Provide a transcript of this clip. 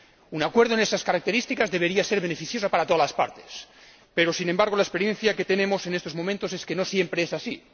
Un acuerdo de esas características debería ser beneficioso para todas las partes, pero la experiencia que tenemos en estos momentos es que no siempre es así.